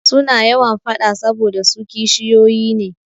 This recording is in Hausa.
Suna yawan faɗa saboda su kishiyoyi ne.